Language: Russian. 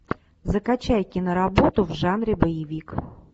закачай киноработу в жанре боевик